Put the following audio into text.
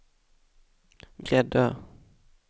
Gräddö